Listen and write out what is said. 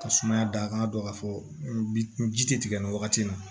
Ka sumaya da an ka dɔn ka fɔ n ji tɛ tigɛ nin wagati in na